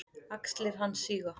Axlir hans síga.